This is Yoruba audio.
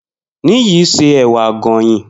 Niyi se èwà àgònyìn.